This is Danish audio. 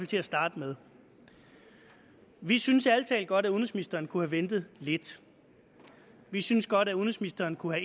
til at starte med vi synes ærlig talt godt at udenrigsministeren kunne have ventet lidt vi synes godt at udenrigsministeren kunne